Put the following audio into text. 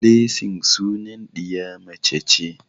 Blessing sunan ɗiya mace ce.